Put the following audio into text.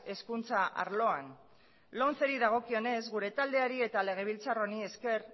hezkuntza arloan lomceri dagokionez gure taldeari eta legebiltzar honi esker